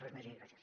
res més i gràcies